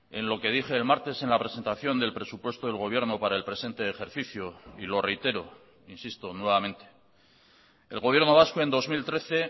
en lo que dije el martes en la presentación del presupuesto del gobierno para el presente ejercicio y lo reitero insisto nuevamente el gobierno vasco en dos mil trece